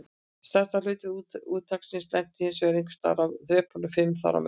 Stærstur hluti úrtaksins lenti hinsvegar einhvers staðar á þrepunum fimm þar á milli.